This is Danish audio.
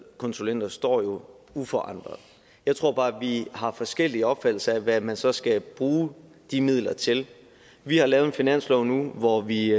konsulenter står jo uforandret jeg tror bare at vi har forskellige opfattelser af hvad man så skal bruge de midler til vi har lavet en finanslov nu hvor vi